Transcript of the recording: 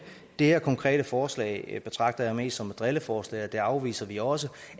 det her konkrete forslag betragter jeg mest som et drilleforslag og det afviser vi også